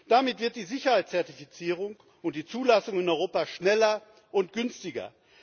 Damit werden die Sicherheitszertifizierung und die Zulassung in Europa schneller und günstiger.